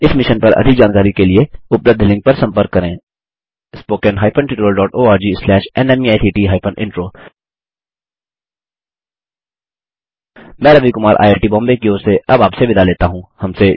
इस मिशन पर अधिक जानकारी के लिए उपलब्ध लिंक पर संपर्क करें spoken hyphen tutorial dot ORG slash नमेक्ट हाइफेन इंट्रो मैं Ravi Kumar I I T Mumbai की ओर से अब आपसे विदा लेता हूँ